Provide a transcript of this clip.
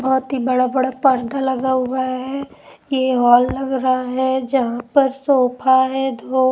बहुत ही बड़ा-बड़ा पर्दा लगा हुआ है ये हॉल लग रहा है जहां पर सोफा है.